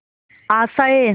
आशाएं